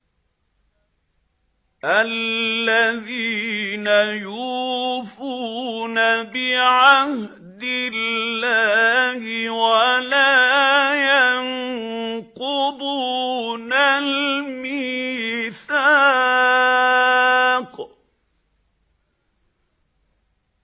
الَّذِينَ يُوفُونَ بِعَهْدِ اللَّهِ وَلَا يَنقُضُونَ الْمِيثَاقَ